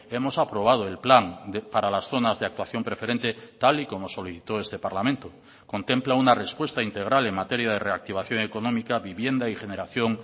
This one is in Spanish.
hemos aprobado el plan para las zonas de actuación preferente tal y como solicitó este parlamento contempla una respuesta integral en materia de reactivación económica vivienda y generación